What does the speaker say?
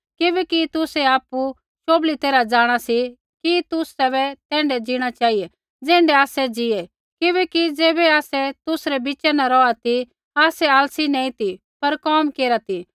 किबैकि तुसै आपु शोभली तैरहा जाँणा सी कि तुसै तैण्ढै जीणा चेहिऐ ज़ैण्ढै आसै ज़ीऐ किबैकि ज़ैबै आसै तुसरै बिच़ा न रौहा ती आसै आलसी नैंई ती पर कोम केरा ती